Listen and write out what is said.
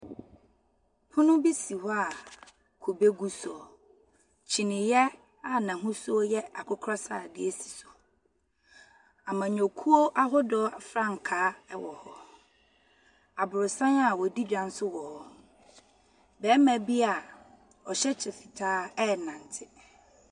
Pono bi si hɔ a kube gu so. kyiniiɛ a n'ahosuo yɛ akokɔ sradeɛ si so. Amanyɔkuo ahodoɔ frankaa ɛwɔ hɔ. Aboronsan a wɔdi dwa nso wɔ hɔ. Barima bi ɔhyɛ kyɛ fitaa ɛrenante.